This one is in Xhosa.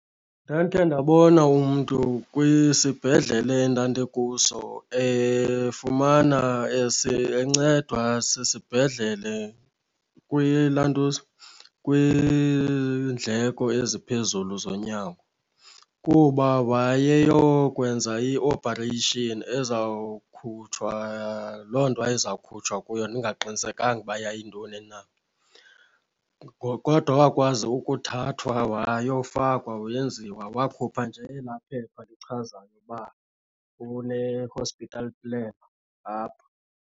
Ndandikhe ndabona umntu kwisibhedlele endandikuso efumana encedwa sisibhedlele kwilantuza, kwiindleko eziphezulu zonyango. Kuba wayeyokwenza i-operation ezawukhutshwa loo nto wayezawukhutshwa kuyo ndingaqinisekanga uba yintoni na. Kodwa wakwazi ukuthathwa wayofakwa wenziwa. Wakhupha nje elaa phepha lichazayo uba une-hospital plan apha.